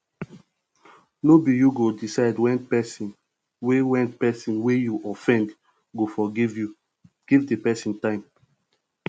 no be you go decide when person wey when person wey you offend go forgive you give di person time